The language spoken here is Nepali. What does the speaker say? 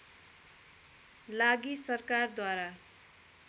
लागि सरकार द्वारा